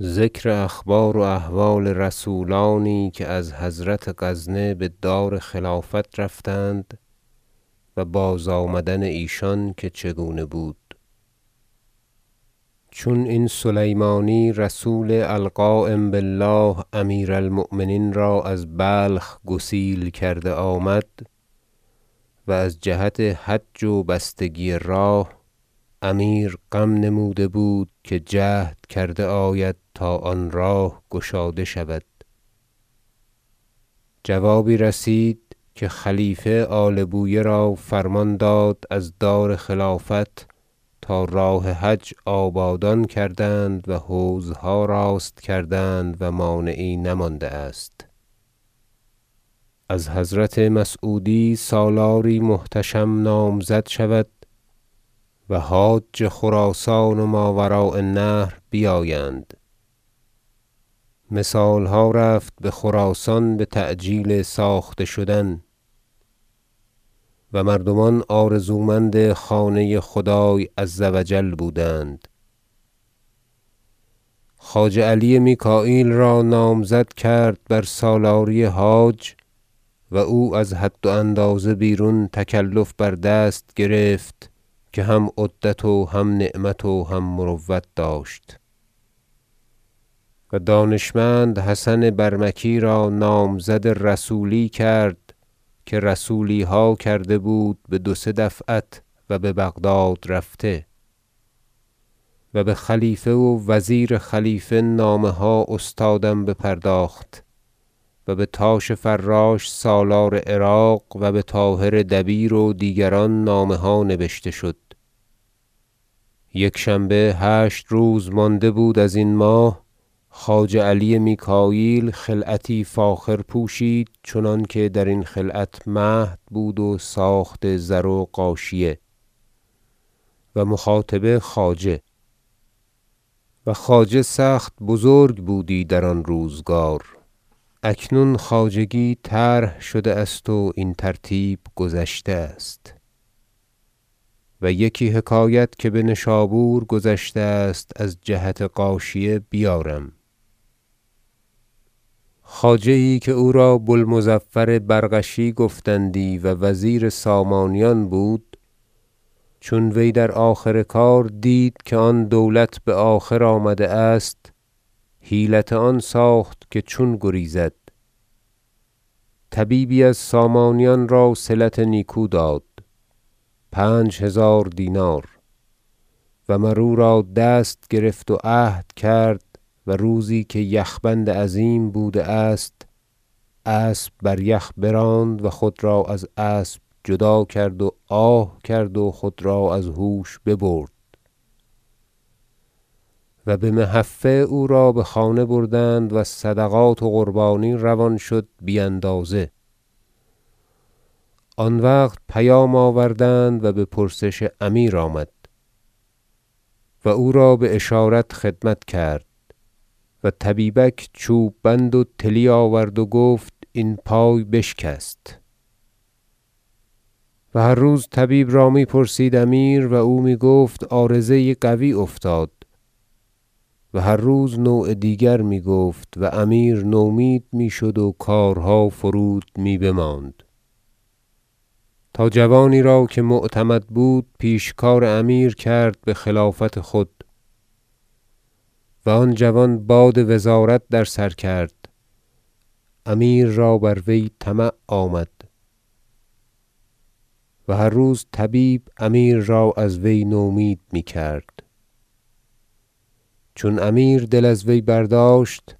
ذکر اخبار و احوال رسولانی که از حضرت غزنه بدار خلافت رفتند و بازآمدن ایشان که چگونه بود چون این سلیمانی رسول القایم بالله امیر المؤمنین را از بلخ گسیل کرده آمد و از جهت حج و بستگی راه امیر غم نموده بود که جهد کرده آید تا آن راه گشاده شود جوابی رسید که خلیفه آل بویه را فرمان داد از دار خلافت تا راه حج آبادان کردند و حوضها راست کردند و مانعی نمانده است از حضرت مسعودی سالاری محتشم نامزد شود و حاج خراسان و ماوراء النهر بیایند مثالها رفت بخراسان بتعجیل ساخته شدن و مردمان آرزومند خانه خدای عز و جل بودند خواجه علی میکاییل را نامزد کرد بر سالاری حاج و او از حد و اندازه بیرون تکلف بر دست گرفت که هم عدت و هم نعمت و هم مروت داشت و دانشمند حسن برمکی را نامزد رسولی کرد که رسولیها کرده بود بدو سه دفعت و ببغداد رفته و بخلیفه و وزیر خلیفه نامه ها استادم بپرداخت و بتاش فراش سالار عراق و بطاهر دبیر و دیگران نامه ها نبشته شد یکشنبه هشت روز مانده بود ازین ماه خواجه علی میکاییل خلعتی فاخر پوشید چنانکه درین خلعت مهد بود و ساخت زر و غاشیه و مخاطبه خواجه و خواجه سخت بزرگ بودی در آن روزگار اکنون خواجگی طرح شده است و این ترتیب گذشته است و یکی حکایت که بنشابور گذشته است از جهت غاشیه بیارم حکایت خواجه یی که او را بوالمظفر برغشی گفتندی و وزیر سامانیان بود چون وی در آخر کار دید که آن دولت بآخر آمده است حیلت آن ساخت که چون گریزد طبیبی از سامانیان را صلت نیکو داد پنج هزار دینار مر او را دست گرفت و عهد کرد و روزی که یخ بند عظیم بوده است اسب بریخ براند و خود را از اسب جدا کرد و آه کرد و خود را از هوش ببرد و بمحفه او را بخانه ببردند و صدقات و قربانی روان شد بی اندازه آن وقت پیغام آوردند و بپرسش امیر آمد و او را باشارت خدمت کرد و طبیبک چوب بند و طلی آورد و گفت این پای بشکست و هر روز طبیب را می پرسید امیر و او میگفت عارضه یی قوی افتاد هر روز نوع دیگر میگفت و امیر نومید میشد و کارها فرود می بماند تا جوانی را که معتمد بود پیشکار امیر کرد بخلافت خود و آن جوان باد وزارت در سر کرد امیر را بر وی طمع آمد و هر روز طبیب امیر را از وی نومید میکرد چون امیر دل از وی برداشت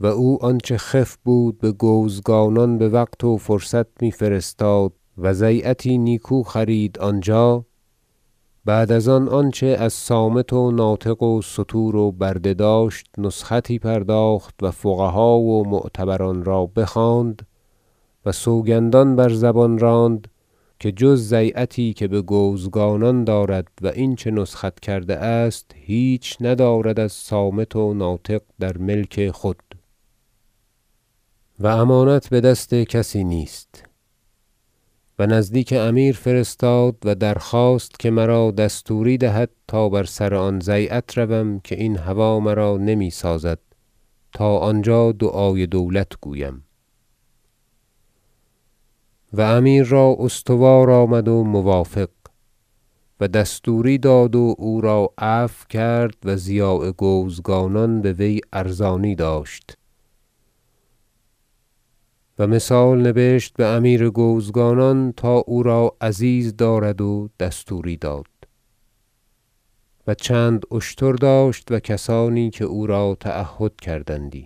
و او آنچه خف بود بگوزگانان بوقت و فرصت میفرستاد وضیعتی نیکو خرید آنجا بعد از آن آنچه از صامت و ناطق و ستور و برده داشت نسختی پرداخت و فقها و معتبران را بخواند و سوگندان بر زبان راند که جز ضیعتی که بگوزگانان دارد و اینچه نسخت کرده است هیچ چیز ندارد از صامت و ناطق در ملک خود و امانت بدست کسی نیست و نزدیک امیر فرستاد و درخواست که مرا دستوری دهد تا بر سر آن ضیعت روم که این هوا مرا نمیسازد تا آنجا دعای دولت گویم و امیر را استوار آمد و موافق و دستوری داد و او را عفو کرد و ضیاع گوزگانان بوی ارزانی داشت و مثال نبشت بامیر گوزگانان تا او را عزیز دارد و دستوری داد و چند اشتر داشت و کسانی که او را تعهد کردندی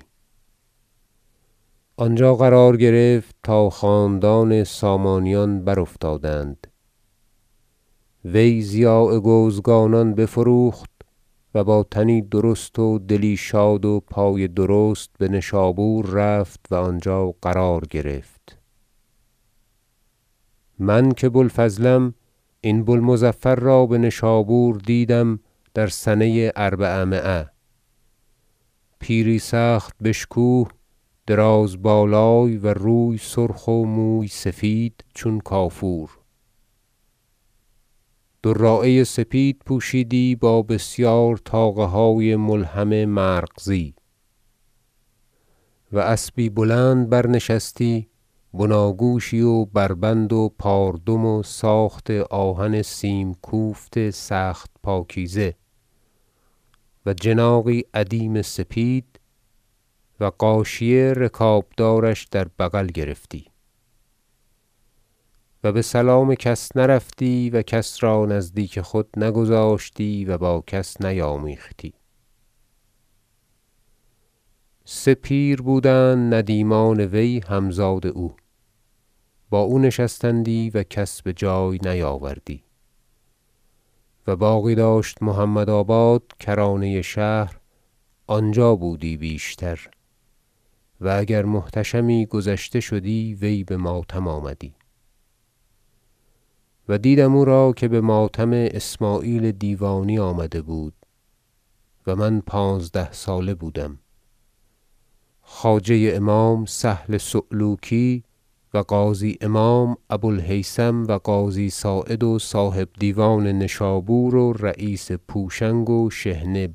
آنجا قرار گرفت تا خاندان سامانیان برافتادند وی ضیاع گوزگانان بفروخت و با تنی درست و دلی شاد و پای درست بنشابور رفت و آنجا قرار گرفت من که بو الفضلم این بو المظفر را بنشابور دیدم در سنه اربعمایه پیری سخت بشکوه دراز بالای و روی سرخ و موی سفید چون کافور دراعه سپید پوشیدی با بسیار طاقه های ملحم مرغزی و اسبی بلند برنشستی بناگوشی و بربند و پاردم و ساخت آهن سیم کوفت سخت پاکیزه و جناغی ادیم سپید و غاشیه رکابدارش در بغل گرفتی و بسلام کس نرفتی و کس را نزدیک خود نگذاشتی و با کس نیامیختی سه پیر بودند ندیمان وی همزاد او با او نشستندی و کس بجای نیاوردی و باغی داشت محمدآباد کرانه شهر آنجا بودی بیشتر و اگر محتشمی گذشته شدی وی بماتم آمدی و دیدم او را که بماتم اسمعیل دیوانی آمده بود و من پانزده ساله بودم خواجه امام سهل صعلوکی و قاضی امام ابو الهیثم و قاضی صاعد و صاحب دیوان نشابور و رییس پوشنگ و شحنه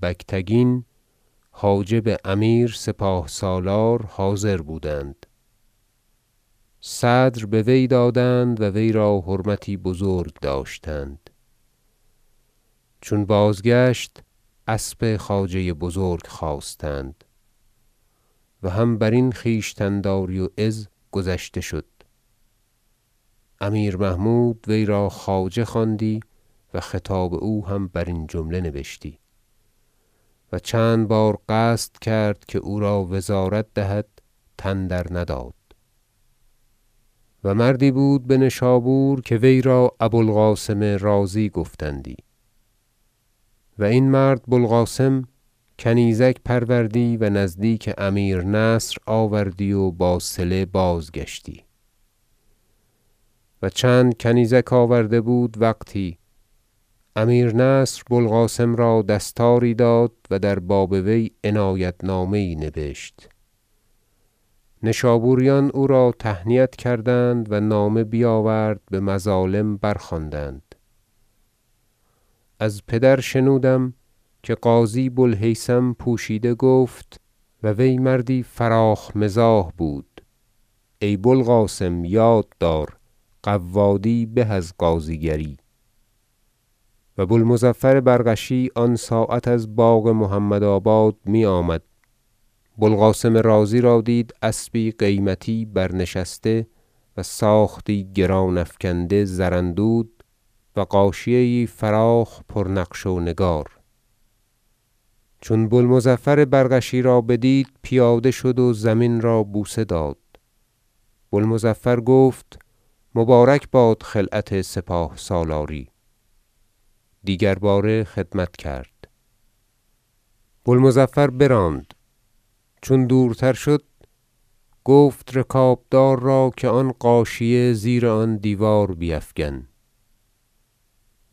بگتگین حاجب امیر سپاه سالار حاضر بودند صدر بوی دادند و وی را حرمتی بزرگ داشتند چون بازگشت اسب خواجه بزرگ خواستند و هم برین خویشتن- داری و عز گذشته شد امیر محمود وی را خواجه خواندی و خطاب او هم برین جمله نبشتی و چند بار قصد کرد که او را وزارت دهد تن در نداد و مردی بود بنشابور که وی را ابو القاسم رازی گفتندی و این مرد بوالقاسم کنیزک پروردی و نزدیک امیر نصر آوردی و با صله بازگشتی و چند کنیزک آورده بود وقتی امیر نصر بوالقاسم را دستاری داد و در باب وی عنایت نامه یی نبشت نشابوریان او را تهنیت کردند و نامه بیاورد بمظالم برخواندند از پدر شنودم که قاضی بوالهیثم پوشیده گفت- و وی مردی فراخ مزاح بود- ای بوالقاسم یاد دار قوادی به از قاضی گری و بوالمظفر برغشی آن ساعت از باغ محمد آباد میآمد بوالقاسم رازی را دید اسب قیمتی برنشسته و ساختی گران افکنده زراندود و غاشیه یی فراخ پرنقش و نگار چون بوالمظفر برغشی را بدید پیاده شد و زمین را بوسه داد بوالمظفر گفت مبارک باد خلعت سپاه سالاری دیگر باره خدمت کرد بوالمظفر براند چون دورتر شد گفت رکابدار را که آن غاشیه زیر آن دیوار بیفگن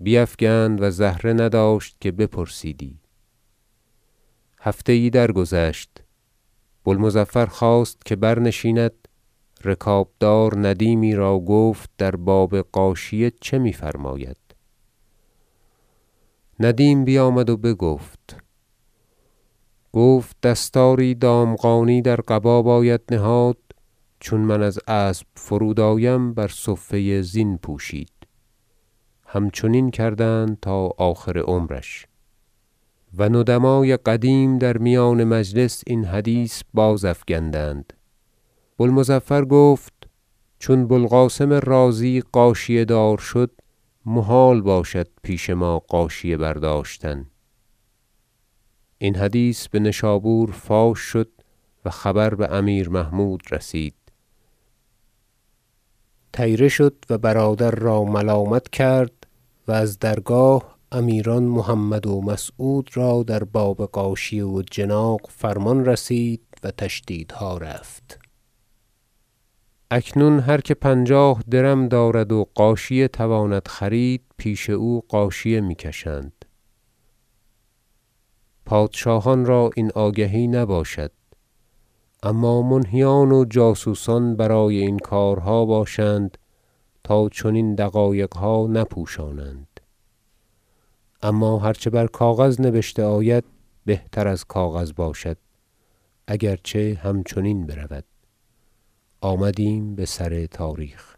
بیفگند و زهره نداشت که بپرسیدی هفته یی درگذشت بوالمظفر خواست که برنشیند رکابدار ندیمی را گفت در باب غاشیه چه میفرماید ندیم بیامد و بگفت گفت دستاری دامغانی در قبا باید نهاد چون من از اسب فرودآیم بر صفه زین پوشید همچنین کردند تا آخر عمرش و ندمای قدیم در میان مجلس این حدیث بازافگندند بوالمظفر گفت چون بوالقاسم رازی غاشیه دار شد محال باشد پیش ما غاشیه برداشتن این حدیث بنشابور فاش شد و خبر بامیر محمود رسید طیره شد و برادر را ملامت کرد و از درگاه امیران محمد و مسعود را در باب غاشیه و جناغ فرمان رسید و تشدیدها رفت اکنون هر که پنجاه درم دارد و غاشیه تواند خرید پیش او غاشیه میکشند پادشاهان را این آگهی نباشد اما منهیان و جاسوسان برای این کارها باشند تا چنین دقایقها نپوشانند اما هر چه بر کاغذ نبشته آید بهتر از کاغذ باشد اگرچه همچنین برود آمدیم بسر تاریخ